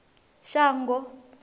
shango